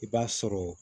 I b'a sɔrɔ